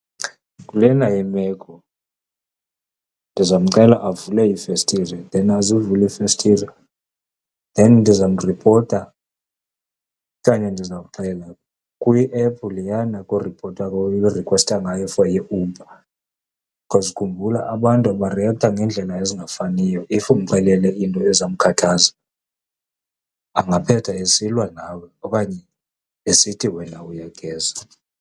Kulena yemeko ndizawumcela avule iifestire, then azivule iifestire. Then ndizawumripota okanye ndizawuxela kwiephu leyana uripota kuyo, urikhwesta ngayo for iUber. Cause khumbula abantu bariektha ngeendlela ezingafaniyo if umxelele into ezawumkhathaza angaphetha esilwa nawe okanye esithi wena uyageza.